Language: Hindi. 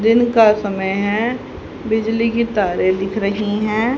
दिन का समय है बिजली की तारें दिख रही हैं।